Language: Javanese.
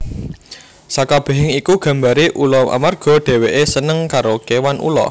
Sakabehing iku gambare ula amarga dheweke seneng karo kewan ula